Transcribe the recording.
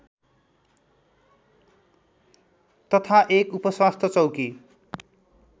तथा एक उपस्वास्थ्य चौकी